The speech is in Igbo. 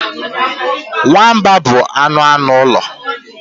Nwamba bụ anụ anụ ụlọ.